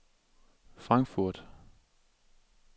Frankfurt